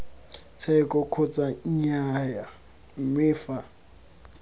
tsheko kgotsa nnyaya mme fa